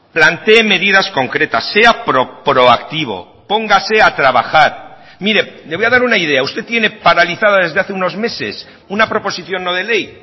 plantee medidas concretas sea proactivo póngase a trabajar mire le voy a dar una idea usted tiene paralizada desde hace unos meses una proposición no de ley